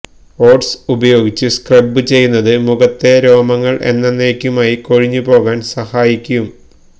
oats ഉപയോഗിച്ച് scrub ചെയ്യുന്നത് മുഖത്തെ രോമങ്ങള് എന്നന്നേക്കുമായി കൊഴിഞ്ഞു പോകാന് സഹായിക്കും